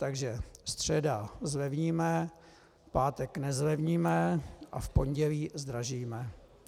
Takže středa zlevníme, pátek nezlevníme a v pondělí zdražíme.